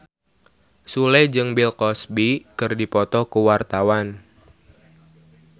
Sule jeung Bill Cosby keur dipoto ku wartawan